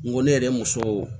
N ko ne yɛrɛ ye muso